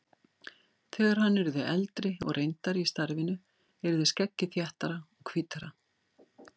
Þegar hann yrði eldri og reyndari í starfinu yrði skeggið þéttara og hvítara.